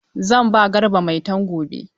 Zan ba Garba Maitan gobe.